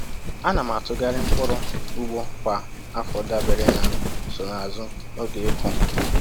A na m atụgharị mkpụrụ ugbo kwa afọ dabere na nsonaazụ oge ịkụ